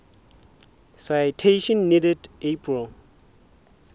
citation needed april